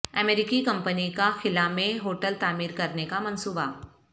امریکی کمپنی کا خلا میں ہوٹل تعمیر کرنے کا منصوبہ